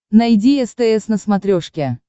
найди стс на смотрешке